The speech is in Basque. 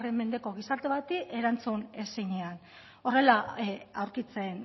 mendeko gizarte bati erantzun ezinean horrela aurkitzen